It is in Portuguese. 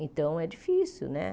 Então, é difícil, né?